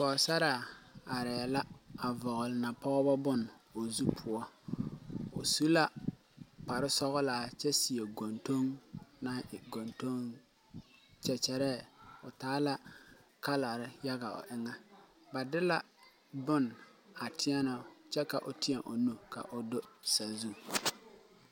Pɔgsaraa arɛɛ la kyɛ de napɔg bone vɔgle o zu pʋɔ. O su la kparesɔglaa kyɛ seɛ goŋdoŋ kyɛkyɛre naŋ taa kala yaga. Ba de la bone a teɛ o ka o teɛ o nu kao do.